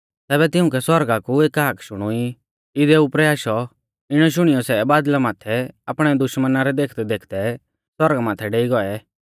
तैबै तिउंकै सौरगा कु एक हाक शुणुई इदै उपरै आशौ इणौ शुणियौ सै बादल़ा माथै आपणै दुश्मना रै देखदैदेखदै सौरगा माथै डेइ गौऐ